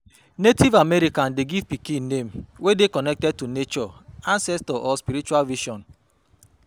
Native americans de give pikin name wey dey connected to nature, ancestor or spiritual vision